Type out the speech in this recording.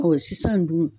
sisan dun